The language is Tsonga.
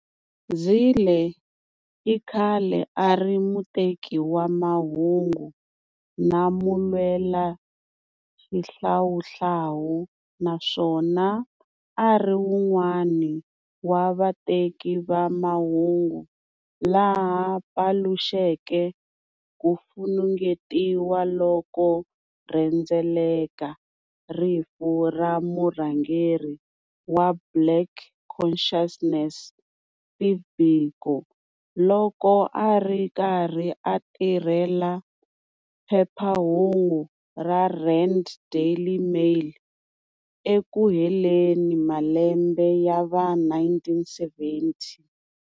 Zille i khale a ri muteki wa mahungu na mulwelaxihlawuhlawu naswona a ri un'wana wa vateki va mahungu lava paluxeke ku funengetiwa loku rhendzeleke rifu ra murhangeri wa Black Consciousness Steve Biko loko a ri karhi a tirhela"phephahungu ra Rand Daily Mail" eku heleni malembe ya va 1970.